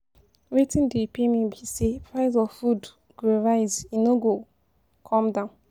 Wetin dey pain me be sey price of food go rise e no go come down.